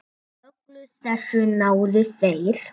Öllu þessu náðu þeir.